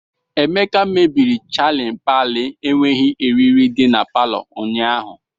Emeka mebiri chajin paịlị n'enweghi eriri di na palọ ụnyahu.